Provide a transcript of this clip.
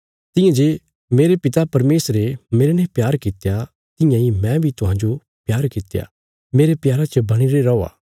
तियां जे मेरे पिता परमेशरे मेरने प्यार कित्या तियां इ मैं बी तुहांजो प्यार कित्या मेरे प्यारा च बणीरे रौआ